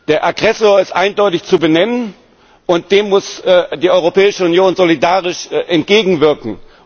Der Aggressor ist eindeutig zu benennen und dem muss die Europäische Union solidarisch entgegenwirken.